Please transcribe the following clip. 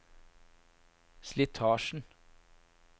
slitasjen